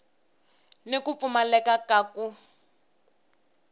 ni ku pfumaleka ka ku